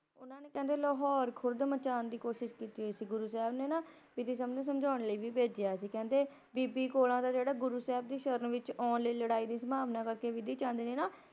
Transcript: ਉਹਨਾਂ ਨੇ ਕਹਿੰਦੇ ਲਾਹੌਰ ਖੁਰਦ ਮਚਾਉਣ ਦੀ ਕੋਸ਼ਿਸ਼ ਕੀਤੀ ਸੀ ਗੁਰੂ ਸਾਹਿਬ ਨੇ ਨਾ ਵੀ ਸਮਝਾਉਣ ਲਈ ਵੀ ਭੇਜਿਆ ਸੀ ਕਹਿੰਦੇ ਬੀ ਬੀਬੀ ਕੌਲਾਂ ਜਿਹੜੀ ਗੁਰੂ ਦੀ ਸ਼ਰਨ ਆਉਣ ਲਈ ਲੜਾਈ ਦੀ ਸੰਭਾਵਨਾ ਬਿਧੀ ਚੰਦ ਦੇ ਨਾਂ